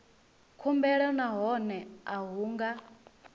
khumbelo nahone a hu nga